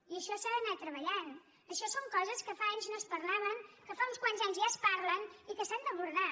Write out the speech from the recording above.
i això s’ha d’anar treballant això són coses que fa anys no es parlaven que fa uns quants anys ja es parlen i que s’han d’abordar